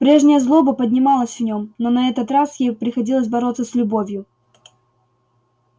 прежняя злоба поднималась в нем но на этот раз ей приходилось бороться с любовью